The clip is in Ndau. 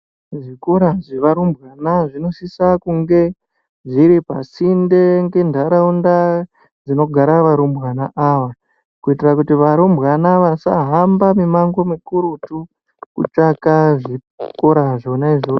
Zvikora zvevarumbwana zvinosisa kunge zviripasinde ngendaraunda dzinogara varumbwana ava kuitira kuti varumbwana vasahamba mimango mikurutu kutsvaka zvikora zvona izvozvo.